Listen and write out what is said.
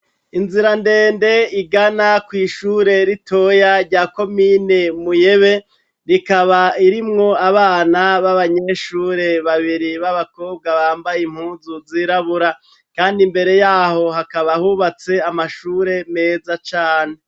Inzira ndende igana kw'ishure ritoya rya komine Muyebe rikaba ririmwo abana b'abanyeshure babiri b'abakobwa bambaye impuzu zirabura, kandi imbere yaho hakaba hubatse amashure meza cane.